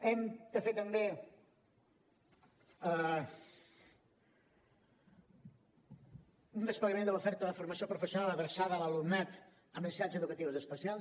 hem de fer també un desplegament de l’oferta de formació professional adreçada a l’alumnat amb necessitats educatives especials